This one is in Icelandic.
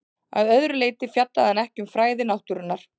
Að öðru leyti fjallaði hann ekki um fræði náttúrunnar.